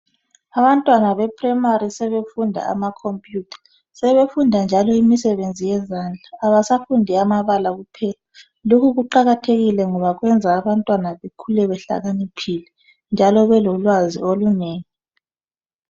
Abantwana beprimary sebefunda amakhompiyutha sebefunda njalo imisebenzi yezandla abasafundi eyamabala kuphela. Lokhu kuqakathekile ngoba kwenza abantwaba behlakaniphile njalo belolwazi olunengi.